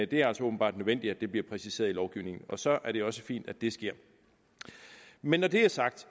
det er altså åbenbart nødvendigt at det bliver præciseret i lovgivningen og så er det også fint at det sker men når det er sagt